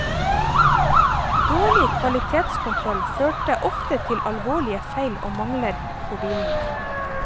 Dårlig kvalitetskontroll førte ofte til alvorlige feil og mangler på bilene.